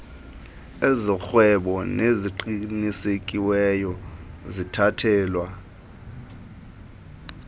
ezorhwebo neziqinisekisiweyo zithathelwa